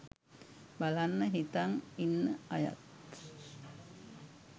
බලන්න හිතන් ඉන්න අයත්